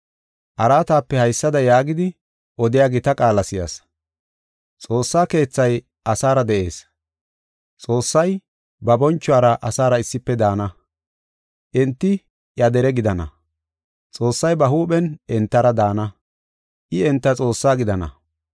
Araatape haysada yaagidi, odiya gita qaala si7as; “Xoossa Keethay asaara de7ees; Xoossay ba bonchuwara asaara issife daana. Enti iya dere gidana; Xoossay ba huuphen entara daana; I enta Xoossaa gidana.